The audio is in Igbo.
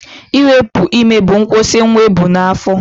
Iwepu ime bụ nkwụsị nwa ebu n'afọ